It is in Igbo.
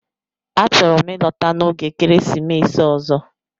A chọrọ m ịlọta n'oge ekeresimesi ọzọ